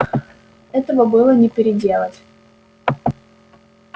этого было не переделать